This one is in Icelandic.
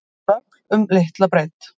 Röfl um litla breidd